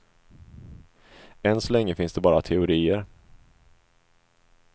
Än så länge finns det bara teorier.